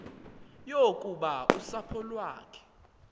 yokuba usapho lwakhe